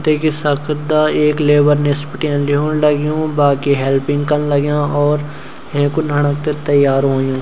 देखि सकदा ऐक लेबर निस बटी ल्योंण लग्युं बाकि हेल्पिंग कन लाग्यां और हेंकु लाणाते तैयार हुँयुं।